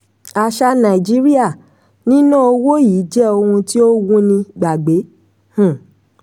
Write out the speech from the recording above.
aṣà nàìjíríà: níná owó yìí jẹ́ ohun tí ó wúni gbàgbé. um